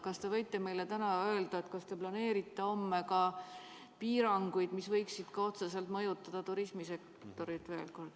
Kas te võite meile täna öelda, kas te planeerite homme ka piiranguid, mis võiksid veel kord otseselt mõjutada turismisektorit?